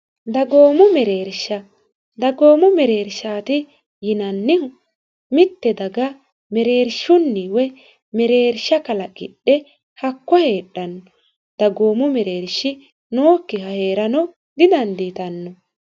dagoomu mereersha dagoomu mereershaati yinannihu mitte daga mereershunni woy mereersha kalaqidhe hakko heedhanno dagoomu mereershi nookkiha hee'rano didandiitanno